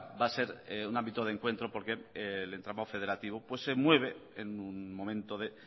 va a ser un ámbito de encuentro porque el entramada federativo se mueve en un momento de